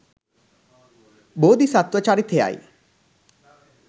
බෝධිසත්ව චරිතය යි